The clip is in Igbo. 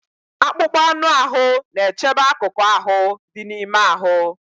Akpụkpọ anụ ahụ na-echebe akụkụ ahụ dị n'ime ahụ.